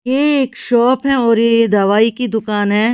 ये एक शॉप है और ये ये दवाई की दुकान है।